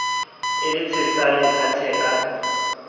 e le tshesane sa theka